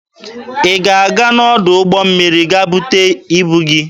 Ị ga-aga n'ọdụ ụgbọ mmiri ga bute ibu gị?